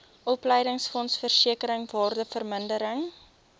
opleidingsfonds versekering waardevermindering